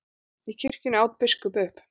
Í kirkjunni, át biskup upp.